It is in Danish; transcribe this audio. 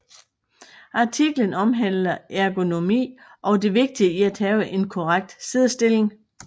Artiklen omhandler ergonomi og det vigtige i at have en korrekt siddestilling